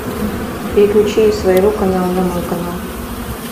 переключи из своего канала на мой канал